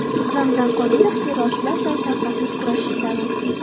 Ramzan Qodirov: Terrorchilar bilan shafqatsiz kurashish zarur.